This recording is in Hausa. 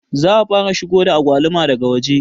Za a fara shigo da agwaluma daga waje